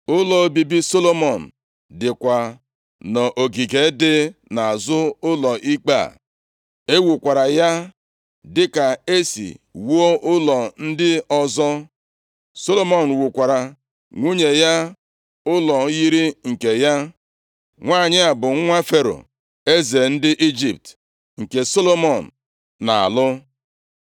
Ụlọ obibi Solomọn dịkwa nʼogige dị nʼazụ ụlọ ikpe a. E wukwara ya dịka e si wuo ụlọ ndị ọzọ. Solomọn wukwaara nwunye ya ụlọ yiri nke ya. Nwanyị a bụ nwa Fero, eze ndị Ijipt, nke Solomọn na-alụ.